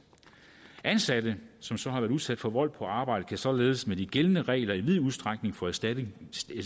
ansatte som så har været udsat for vold på arbejde kan således med de gældende regler i vid udstrækning få erstatning